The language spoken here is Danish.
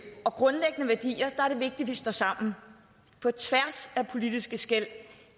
og grundlæggende værdier er det vigtigt at vi står sammen på tværs af politiske skel